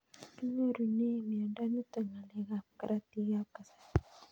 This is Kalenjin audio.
Kinyorune miondo nitok ng'alek ab karatik ab kasari